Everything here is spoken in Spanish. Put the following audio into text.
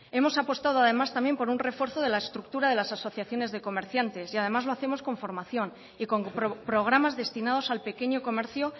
hemos apostado además también por un refuerzo de la estructura de las asociaciones de comerciantes y además lo hacemos con formación y con programas destinados al pequeño comercio